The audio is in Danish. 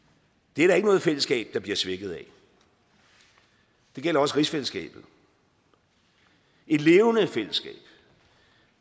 det er der ikke noget fællesskab der bliver svækket af det gælder også rigsfællesskabet et levende fællesskab